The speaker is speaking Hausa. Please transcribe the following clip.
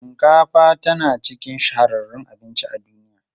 Shinkafa tana cikin shahararrun abinci a duniya.